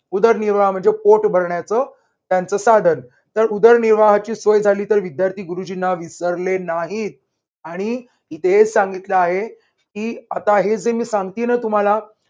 उदरनिर्वाह म्हणजे पोट भरण्याच त्यांचं साधन. तर उदरनिर्वाहाची सोय झाली तर विद्यार्थी गुरुजींना विसरले नाहीत. आणि इथे हेच सांगितल आहे की आता हे जे मी सांगते ना तुम्हाला